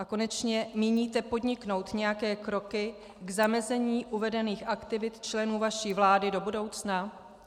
A konečně, míníte podniknout nějaké kroky k zamezení uvedených aktivit členů vaší vlády do budoucna?